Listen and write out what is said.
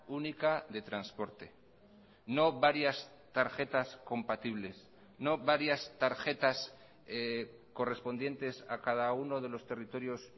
única de transporte no varias tarjetas compatibles no varias tarjetas correspondientes a cada uno de los territorios